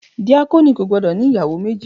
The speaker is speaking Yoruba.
Díákónì kò gbọ́dọ̀ ní ìyàwó méjì.